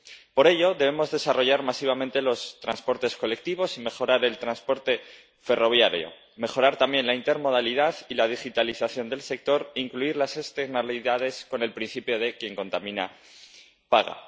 Por ello, debemos desarrollar masivamente los transportes colectivos y mejorar el transporte ferroviario, mejorar también la intermodalidad y la digitalización del sector e incluir las externalidades con el principio de Quien contamina, paga.